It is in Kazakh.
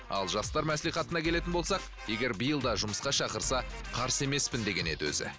ал жастар маслихатына келетін болсақ егер биыл да жұмысқа шақырса қарсы емеспін деген еді өзі